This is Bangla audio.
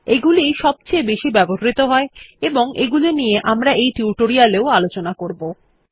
এগুলি ই সবচেয়ে বেশি ব্যবহৃত হয় এবং এগুলি নিয়ে আমরা টিউটোরিয়াল এও আলোচনাও করবো